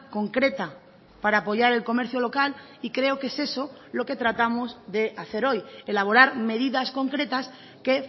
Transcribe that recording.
concreta para apoyar el comercio local y creo que es eso lo que tratamos de hacer hoy elaborar medidas concretas que